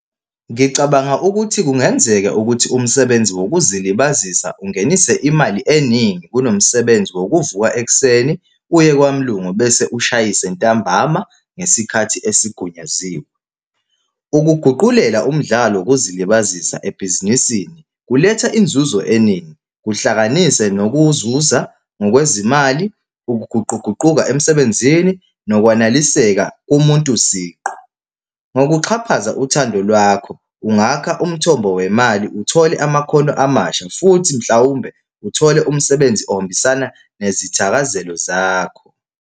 Ngicabanga ukuthi kungenzeka ukuthi umsebenzi wokuzilibazisa ungenise imali eningi kunomsebenzi wokuvuka ekuseni uye kwamlungu bese ushayise ntambama ngesikhathi esigunyaziwe. Ukuguqulela umdlalo wokuzilibazisa ebhizinisini kuletha inzuzo eningi, kuhlanganise nokuzuza ngokwezimali, ukuguquguquka emsebenzini, nokwaneliseka komuntu siqu. Ngokuxhaphaza uthando lwakho, ungaka umthombo wemali, uthole amakhono amasha futhi mhlawumbe uthole umsebenzi ohambisana nezithakazelo zakho.